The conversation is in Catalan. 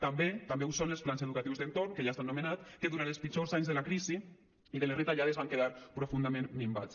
també també ho són els plans educatius d’entorn que ja s’han anomenat que durant els pitjors anys de la crisi i de les retallades van quedar profundament minvats